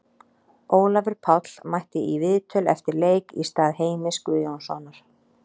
Ólafur Páll mætti í viðtöl eftir leik í stað Heimis Guðjónssonar.